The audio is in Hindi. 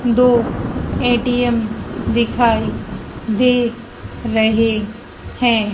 दो ए_टी_एम दिखाई दे रहे हैं।